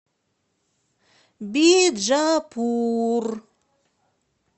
биджапур